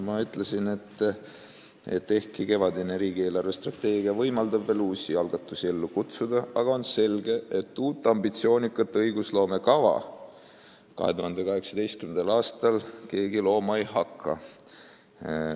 Ma olen öelnud, et ehkki kevadine riigi eelarvestrateegia võimaldab veel uusi algatusi ellu kutsuda, on selge, et uut ambitsioonikat õigusloomekava 2018. aastal keegi looma ei hakka.